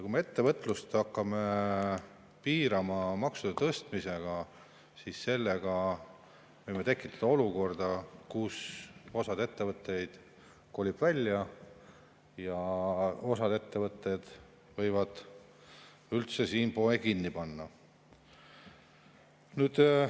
Kui me ettevõtlust hakkame piirama maksude tõstmisega, siis võime tekitada olukorra, kus osa ettevõtteid kolib välja ja osa ettevõtteid võib üldse siin poe kinni panna.